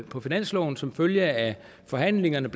på finansloven som følge af forhandlingerne